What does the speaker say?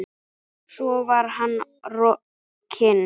Svo var hann rokinn.